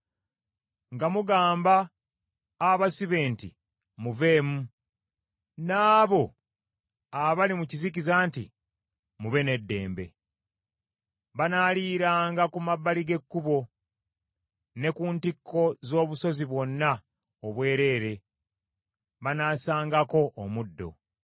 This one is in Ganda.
nga mugamba abasibe nti, ‘Muveemu,’ n’abo abali mu kizikiza nti, ‘Mube n’eddembe!’ “Banaaliranga ku mabbali g’ekkubo, ne ku ntikko z’obusozi bwonna obwereere banasangangako omuddo.